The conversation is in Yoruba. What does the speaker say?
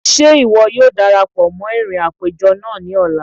Ṣe iwọ yóò darapọ mọ irín apejọ naa ni ọla?